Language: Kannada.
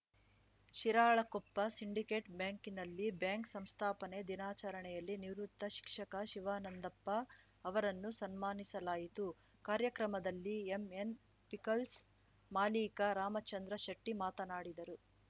ಶಿರಾಳಕೊಪ್ಪ ಸಿಂಡಿಕೇಟ್‌ ಬ್ಯಾಂಕಿನಲ್ಲಿ ಬ್ಯಾಂಕ್‌ ಸಂಸ್ಥಾಪನೆ ದಿನಾಚರಣೆಯಲ್ಲಿ ನಿವೃತ್ತ ಶಿಕ್ಷಕ ಶಿವಾನಂದಪ್ಪ ಅವರನ್ನು ಸನ್ಮಾನಿಸಲಾಯಿತು ಕಾರ್ಯಕ್ರಮದಲ್ಲಿ ಎಂಎನ್‌ ಪಿಕಲ್ಸ್‌ ಮಾಲಿಕ ರಾಮಚಂದ್ರ ಶೆಟ್ಟಿಮಾತನಾಡಿದರು